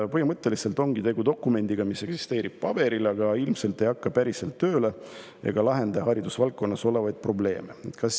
Põhimõtteliselt on tegu dokumendiga, mis eksisteerib paberil, aga päriselt ilmselt tööle ei hakka ja haridusvaldkonnas olevaid probleeme ei lahenda.